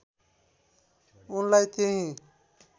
उनलाई त्यहीँ